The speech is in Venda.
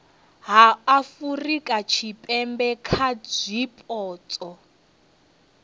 ha afurika tshipembe kha zwipotso